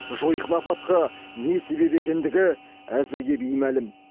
жойқын апатқа не себеп екендігі әзірге беймәлім